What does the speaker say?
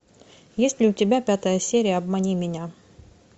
есть ли у тебя пятая серия обмани меня